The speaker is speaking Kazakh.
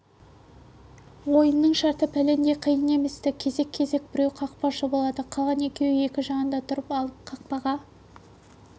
ойынның шарты пәлендей қиын еместі кезек-кезек біреу кақпашы болады қалған екеуі екі жағында тұрып алып қақпаға